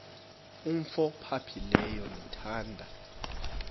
umf ophaphileyo ndithanda